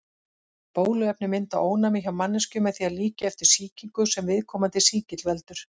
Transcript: Bóluefni mynda ónæmi hjá manneskju með því að líkja eftir sýkingu sem viðkomandi sýkill veldur.